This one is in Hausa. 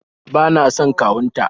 bana son kawun ta